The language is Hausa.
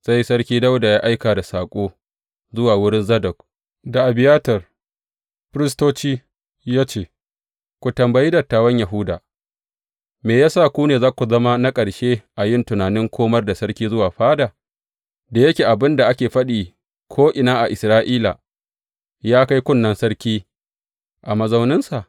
Sai Sarki Dawuda ya aika da saƙo zuwa wurin Zadok da Abiyatar, firistoci, ya ce, Ku tambayi dattawan Yahuda, Me ya sa ku ne za ku zama na ƙarshe a yin tunanin komar da sarki zuwa fada, da yake abin da ake faɗi ko’ina a Isra’ila ya kai kunnen sarki a mazauninsa?